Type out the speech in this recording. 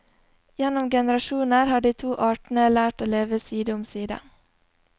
Gjennom generasjoner har de to artene lært seg å leve side om side.